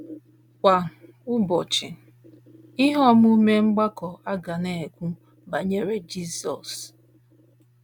Kwa ụbọchị, ihe omume mgbakọ a ga na - ekwu banyere Jizọs.